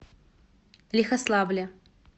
лихославле